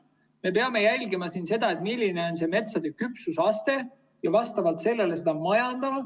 Me peame jälgima seda, milline on metsa küpsusaste ja vastavalt sellele seda majandama.